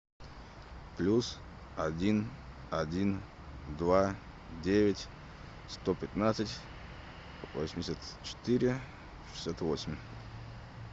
плюс один один два девять сто пятнадцать восемьдесят четыре шестьдесят восемь